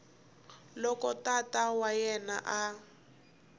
loko tata wa yena a